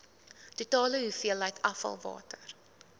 totale hoeveelheid afvalwater